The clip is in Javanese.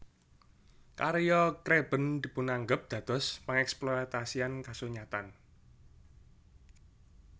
Karya Craben dipunanggep dados pengeksploitasian kasunyatan